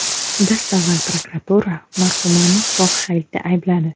Dastavval prokuratura marhumani fohishalikda aybladi .